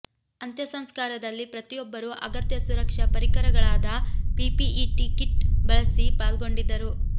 ಅಂತ್ಯ ಸಂಸ್ಕಾರದಲ್ಲಿ ಪ್ರತಿಯೊಬ್ಬರೂ ಅಗತ್ಯ ಸುರಕ್ಷಾ ಪರಿಕರಗಳಾದ ಪಿಪಿಇ ಕಿಟ್ ಬಳಸಿ ಪಾಲ್ಗೊಂಡಿದ್ದರು